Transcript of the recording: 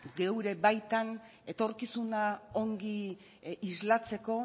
gure baitan etorkizuna ongi islatzeko